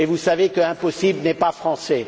Mais vous savez qu'impossible n'est pas français.